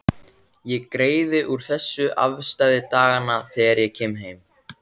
Ég greiði úr þessu afstæði daganna þegar ég kem heim.